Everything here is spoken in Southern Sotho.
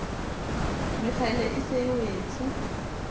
mekgele e se e wetse